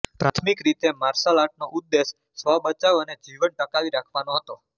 પ્રાથમિક રીતે માર્શલ આર્ટનો ઉદ્દેશ સ્વ બચાવ અને જીવન ટકાવી રાખવાનો હતો